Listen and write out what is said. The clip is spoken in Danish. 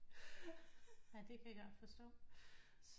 Det kan jeg godt forstå